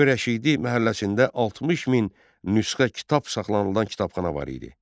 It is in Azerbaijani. Rəbi Rəşidi məhəlləsində 60 min nüsxə kitab saxlanılan kitabxana var idi.